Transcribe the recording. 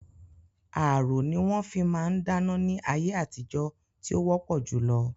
Ààrò ní wọn fi máa ń dáná ní ayé àtijó tí ó wọpọ julọ